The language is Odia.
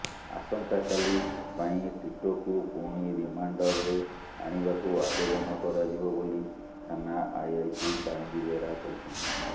ଆସନ୍ତାକାଲି ପାଇଁ ଟିଟୋକୁ ପୁଣି ରିମାଣ୍ଡରରେ ଆଣିବାକୁ ଆବେଦନ କରାଯିବ ବୋଲି ଥାନା ଆଇଆଇସି କାଳନ୍ଦୀ ବେହେରା କହିଛନ୍ତି